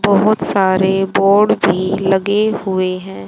बहोत सारे बोर्ड भी लगे हुए हैं।